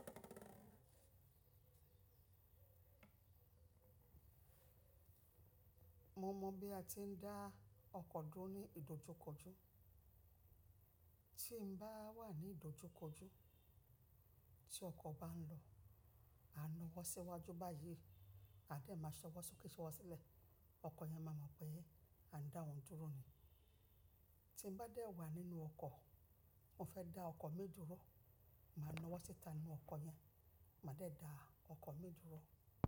Mo mọ̀ bí a ti ń dá ọkọ̀ dúró ní ìdojúkojú. Tí mo bá wà ní ìdojúkojú, tí ọkọ̀ bá ń lọ, à ń na wọ́n síwájú báyìí, a lè máa sọ wọ́n sókè, so wọ́n sílẹ̀, ọkọ̀ yẹn máa mọ̀ pé à ń dá òun dúró ni. Tí mo bá dẹ̀ wà nínú ọkọ̀, mo fẹ́ dá ọkọ̀ mi dúró, màá na wọ́n síta nínú ọkọ̀ yẹn, màá dẹ̀ dá ọkọ̀ mi dúró.